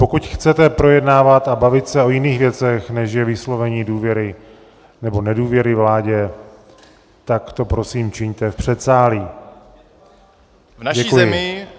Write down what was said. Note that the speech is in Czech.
Pokud chcete projednávat a bavit se o jiných věcech, než je vyslovení důvěry nebo nedůvěry vládě, tak to prosím čiňte v předsálí.